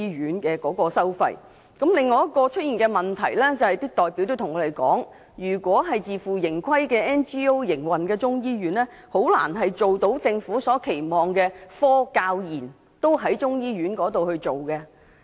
有代表告訴我們，另一個可能出現的問題是，若由非政府機構以自負盈虧方式營運中醫院，便難以做到政府期望的科、教、研同時進行。